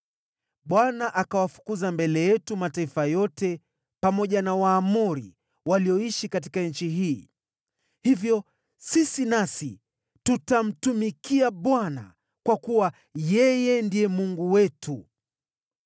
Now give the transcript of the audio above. Bwana akayafukuza mbele yetu mataifa yote pamoja na Waamori, walioishi katika nchi hii. Hivyo sisi nasi tutamtumikia Bwana kwa kuwa yeye ndiye Mungu wetu.”